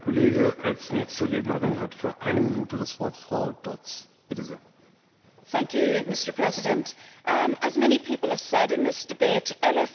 Mr President, as many people have said in this debate, LFA is important.